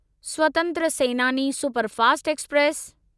स्वतंत्र Senani superfast express